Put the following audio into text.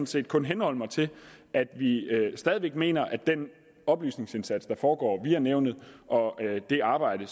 set kun henholde mig til at vi stadig væk mener at den oplysningsindsats der foregår via nævnet og det arbejde